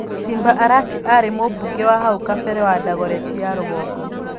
Simba Arati aarĩ Mũmbunge wa hau kabere wa Dagoretti ya rũgongo.